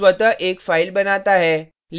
Eclipse स्वतः एक file बनाता है